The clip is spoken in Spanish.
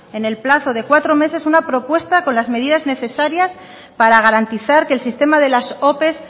en el plazo de cuatro meses una propuesta con las medidas necesarias para garantizar que el sistema de las ope